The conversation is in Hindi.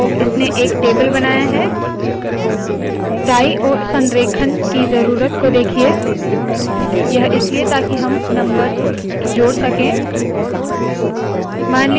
तो इसने एक टेबल बनाया है दाईं ओर संरेखण की ज़रूरत को देखिए यह इसलिए ताकि हम नम्बर्स जोड़ सके